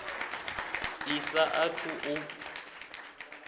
i sa a thu u